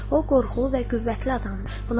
O qorxulu və qüvvətli adamdır.